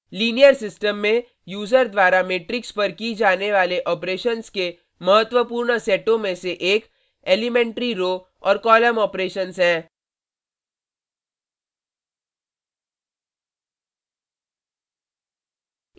linear system में user द्वारा matrix पर की जाने वाले ऑपरेशन्स के महत्वपूर्ण सेटों में से एक एलीमेंट्री elementary रो और कॉलम ऑपरेशन्स हैं